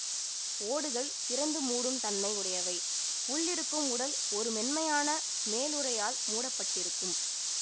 ஓடுகள் திறந்து மூடும் தன்மை உடையவை உள் இருக்கும் உடல் ஒரு மென்மையான மேலுறையால் மூடப்பட்டிருக்கும்